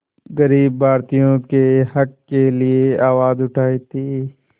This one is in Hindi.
ग़रीब भारतीयों के हक़ के लिए आवाज़ उठाई थी